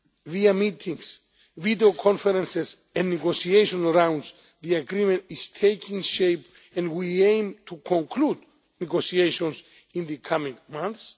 Via meetings, videoconferences and negotiation rounds, the Agreement is taking shape and we aim to conclude negotiations in the coming months.